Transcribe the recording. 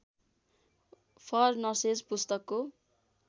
for nurses पुस्तकको